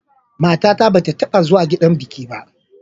Matata ba ta taɓa zuwa gidan biki ba.